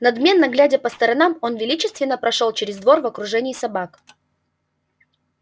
надменно глядя по сторонам он величественно прошёл через двор в окружении собак